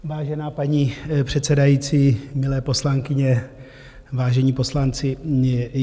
Vážená paní předsedající, milé poslankyně, vážení poslanci.